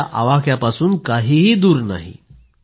त्यांच्या आवाक्यापासून काहीही दूर नाही